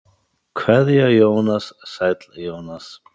Kveðja Jónas Sæll Jónas.